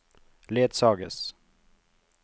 ledsages